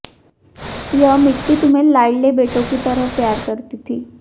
यह मिट्टी तुम्हें लाड़ले बेटों की तरह प्यार करती थी